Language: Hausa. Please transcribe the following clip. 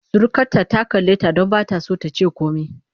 Surukarta ta kalleta don ba ta so ta ce komai.